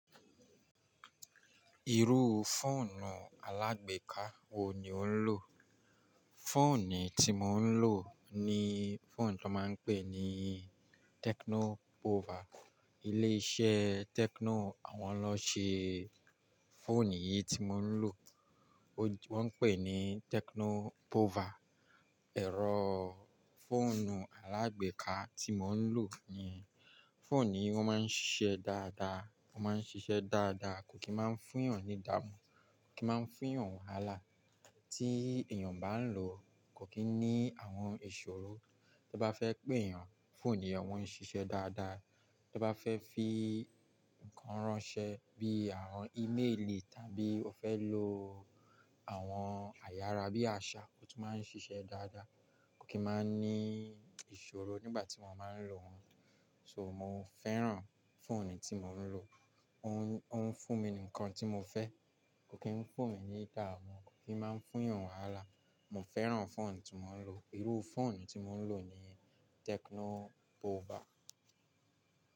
Irú fóònù alágbèéká wo ni ò ń lò? Fóònù tí mò ń lò ni fóònù tí wọ́n máa ń pè ní Tecno Pouvoir. Ilé iṣẹ́ Tecno, awọ́n lọ ṣe fóònù yìí tí mò ń lò. Wọ́n pè é ní Tecno Pouvoir. Ẹ̀rọ́ fóònù alágbèéká tí mò ń lò ni. Fóònù yìí o máa ń ṣiṣẹ́ dáadáa, o maa n sise daadaa, kò kí máa ń fún èèyàn ní dáàmu, kò kí máa ń fún èèyàn ni wàhálà. Tí èèyàn bá ń lò ó, kò kí ní àwọn ìṣòro. To bá fẹ́ pé èèyàn, fóònù yìí won ń ṣiṣẹ́ dáadáa. Tẹ bá fẹ́ fi nǹkan ráńṣẹ́ bíi àwọn íméèlì tàbí o fẹ́ lo àwọn ayára bíi àṣá, ó tún máa ń ṣiṣẹ́ dáadáa. Kò kí máa ń ní ìṣòro nígbà tí mo máa ń lò So, mò ń fẹ́ràn fóònù tí mò ń lò. Ó ń fún mi ní ńkan tí mò fẹ́. Kò kí ń fún eeyan ní dáàmu, kò kí ń máa ń fún eeyan ni wàhálà. Mo fẹ́ran fóònù tí mò ń lò. Irú fóònù tí mò ń lò ni Tecno Pouvoir.